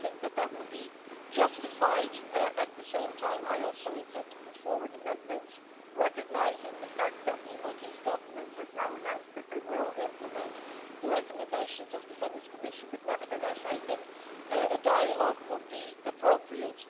We think that that would be justified. At the same time, I also intend to put forward amendments recognising the fact that the Maltese Government has now announced that they will implement the recommendations of the Venice Commission but nevertheless, I think a dialogue would be appropriate.